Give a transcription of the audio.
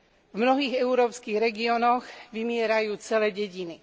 V mnohých európskych regiónoch vymierajú celé dediny.